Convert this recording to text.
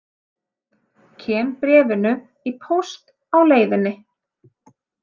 Kem bréfinu í póst á leiðinni.